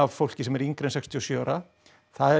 fólki sem er yngra en sextíu og sjö ára það er